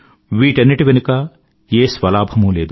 వీటన్నింటి వెనుకా ఏ స్వలాభమూ లేదు